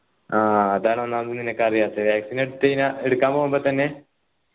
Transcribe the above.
ആ അതാണ് ഒന്നാമത് നിനക്ക് അറിയാത്തെ vaccine എട്ത്ത് കയിന എടുക്കാൻ പോകുമ്പൊത്തന്നെ